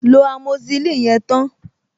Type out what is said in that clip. Lo amoxicillin yẹn tán!